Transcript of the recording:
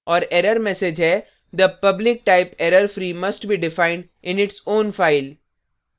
और error message है the public type errorfree must be defined in its own file